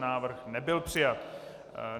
Návrh nebyl přijat.